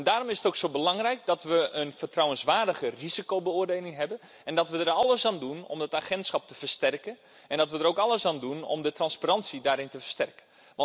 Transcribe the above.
Daarom is het ook zo belangrijk dat we een vertrouwenswaardige risicobeoordeling hebben, dat we er alles aan doen om de autoriteit te versterken en dat we er ook alles aan doen om de transparantie te versterken.